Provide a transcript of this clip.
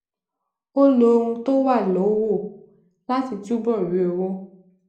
ó lo ohun tó wà lówó láti túbò rí owó